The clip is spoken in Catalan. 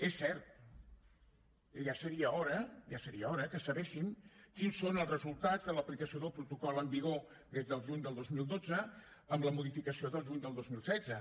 és cert i ja seria hora ja seria hora que sabéssim quins són els resultats de l’aplicació del protocol en vigor des del juny del dos mil dotze amb la modificació del juny del dos mil setze